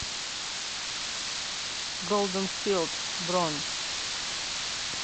голден филд бронь